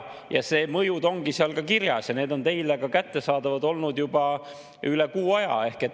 Need mõjud on seal kirjas ja need on teile kättesaadavad olnud juba üle kuu aja.